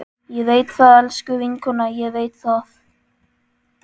Ég veit það, elsku vinkona, ég veit það.